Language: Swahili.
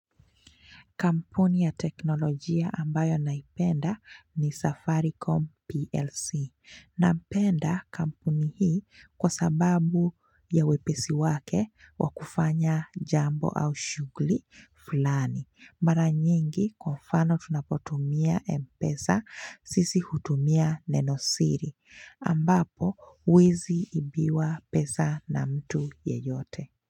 Kampuni ya teknolojia ambayo naipenda ni Safaricom PLC. Naipenda kampuni hii kwa sababu ya wepesi wake wakufanya jambo au shugli fulani. Mara nyingi kwa mfano tunapotumia mpesa sisi hutumia nenosiri. Ambapo wezi ibiwa pesa na mtu yeyote.